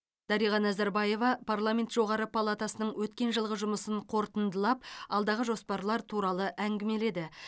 дариға назарбаева парламент жоғарғы палатасының өткен жылғы жұмысын қорытындылап алдағы жоспарлар туралы әңгімеледі